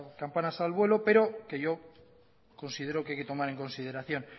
campanas al vuelo pero que yo considero que hay que tomar en consideración